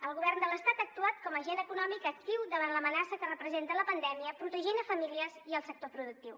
el govern de l’estat ha actuat com a agent econòmic actiu davant l’amenaça que representa la pandèmia protegint famílies i el sector productiu